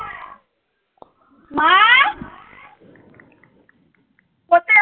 হঠাৎ